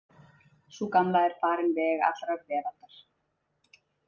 Sú gamla er farin veg allrar veraldar.